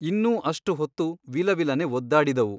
ಇನ್ನೂ ಅಷ್ಟು ಹೊತ್ತು ವಿಲವಿಲನೆ ಒದ್ದಾಡಿದವು.